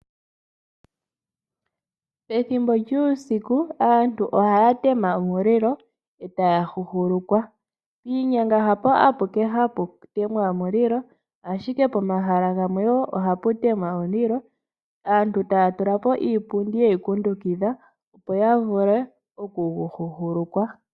Pethimbo lyuusiku aantu ohaya tema omulilo e taya huhulukwa. Piinyanga hapo apuke hapu temwa omulilo, ashike pomahala gamwe wo ohapu temwa omulilo aantu taya kutha iipundi ye gu kundukidha, opo ya vule okugu huhulukwa.